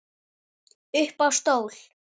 Upp á stól